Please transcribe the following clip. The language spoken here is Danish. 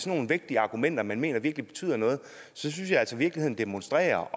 nogle vægtige argumenter man mener virkelig betyder noget synes jeg altså virkeligheden demonstrerer